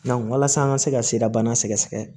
walasa an ka se ka sirabana sɛgɛsɛgɛ